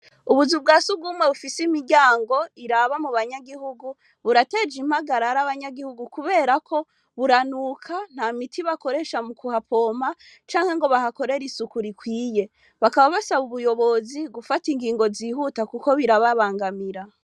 Ubuzu bwa sugumwe bufise imiryango iraba mubanyagihugu, burateje impagarara abanyagihugu, kubera ko buranuka, nta miti bakoresha mukuhapompa canke ngo bahakorere isuku rikwiye, bakaba basaba ubuyobozi gufata ingingo zihuta kuko burababangamira.